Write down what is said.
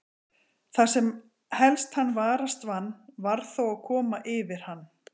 Það sem helst hann varast vann, varð þó að koma yfir hann.